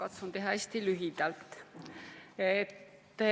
Ma katsun teha hästi lühidalt.